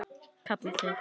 kalla þeir.